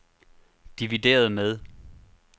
divideret med